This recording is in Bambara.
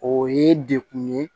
O ye dekun ye